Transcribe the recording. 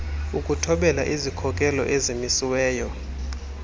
ukuthobela izikhokelo ezimisiweyo